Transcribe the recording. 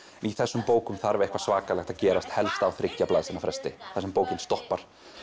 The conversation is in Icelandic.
í þessum bókum þarf eitthvað svakalegt að gerast helst á þriggja blaðsíðna fresti þar sem bókin stoppar